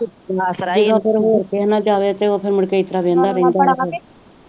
ਹੋਰ ਕਿਸੇ ਨਾਲ ਜਾਵੇ ਤੇ ਉਹ ਫੇਰ ਮੁੜ ਕੇ ਏਤਰਾ ਬੇਹਂਦਾ ਬੇਹਂਦਾ ਵੀ ਨੀ